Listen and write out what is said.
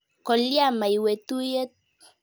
Kolya maiwe tuiyet.